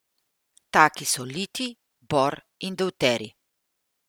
Taki so litij, bor in devterij.